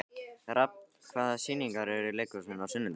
Rafn, hvaða sýningar eru í leikhúsinu á sunnudaginn?